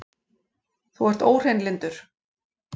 Þú ert óhreinlyndur!